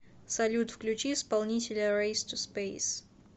салют включи исполнителя рэйс ту спэйс